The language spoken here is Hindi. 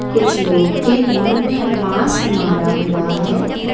कुछ लोग के मुंह में मास्क मारा हुआ है।